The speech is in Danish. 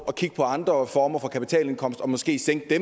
at kigge på andre former for kapitalindkomst og måske sænke det